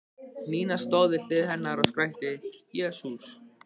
Nína stóð við hlið hennar og skrækti: Jesús!